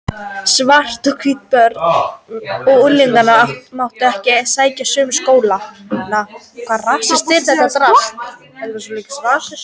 Svört og hvít börn og unglingar máttu ekki sækja sömu skólana.